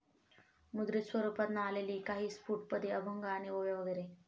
मुद्रित स्वरूपात ना आलेली काही स्फुट पदे, अभंग आणि ओव्या, वगैरे.